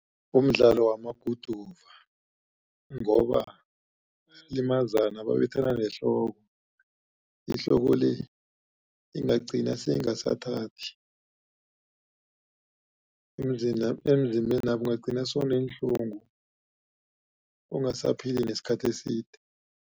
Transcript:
Umdlalo wamaguduva ngoba bayalimazana babethana nehloko. Ihloko le ingagcina seyingasathathi emzimbena ungagcina sewuneenhlungu ungasaphili nesikhathi eside.